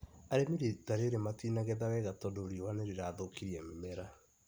Arĩmĩ rita rĩrĩ matinagetha wega tondũ riũa nĩrĩrathũkrie mĩmera